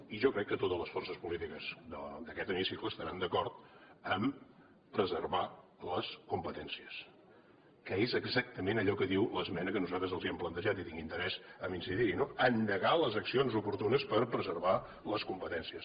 i jo crec que totes les forces polítiques d’aquest hemicicle estaran d’acord a preservar les competències que és exactament allò que diu l’esmena que nosaltres els hem plantejat i tinc interès a incidir hi no endegar les accions oportunes per preservar les competències